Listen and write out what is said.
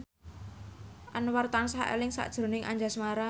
Anwar tansah eling sakjroning Anjasmara